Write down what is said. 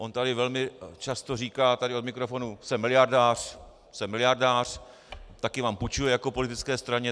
On tady velmi často říká, tady od mikrofonu: Jsem miliardář, jsem miliardář, taky vám půjčuji jako politické straně.